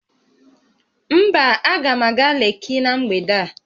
Mba, aga m aga Lekki na mgbede a